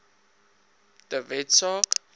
de wet saak